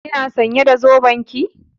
Kina sãnye da zoben ki?